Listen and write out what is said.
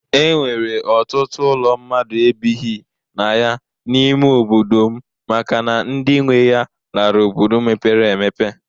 E nwere ọtụtụ ụlọ mmadụ ebighi na ya n'ime obodo m makana ndị nwe ya lara obodo mepere emepe.